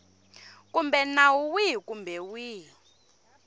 kumbe nawu wihi kumbe wihi